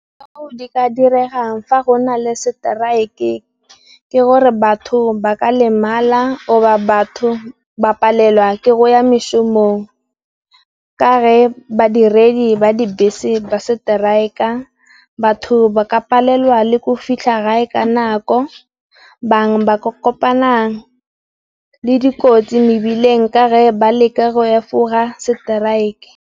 Seo se ka diregang fa go na le seteraeke ke gore batho ba ka lemala, goba o ba batho ba palelwa ke go ya mešomong. Ka ge badiredi ba dibese se ba seteraeka, batho ba ka palelwa le ko fitlha gae ka nako, bangwe ba kopana le dikotsi mebileng ka ge ba leka go ya efola seteraeke.